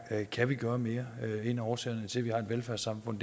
kan gøre mere en af årsagerne til at vi har et velfærdssamfund